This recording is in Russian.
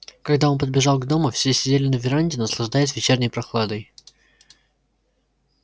когда он подбежал к дому все сидели на веранде наслаждаясь вечерней прохладой